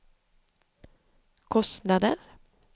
kostnader